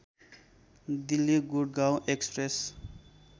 Delhi Gurgaon Express